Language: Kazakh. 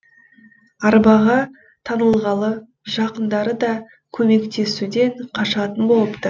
арбаға таңылғалы жақындары да көмектесуден қашатын болыпты